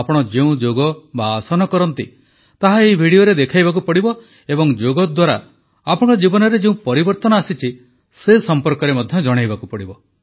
ଆପଣ ଯେଉଁ ଯୋଗ ବା ଆସନ କରନ୍ତି ତାହା ଏହି ଭିଡିଓରେ ଦେଖାଇବାକୁ ପଡ଼ିବ ଏବଂ ଯୋଗ ଦ୍ୱାରା ଆପଣଙ୍କ ଜୀବନରେ ଯେଉଁ ପରିବର୍ତ୍ତନ ଆସିଛି ସେ ସମ୍ପର୍କରେ ମଧ୍ୟ ଜଣାଇବାକୁ ପଡ଼ିବ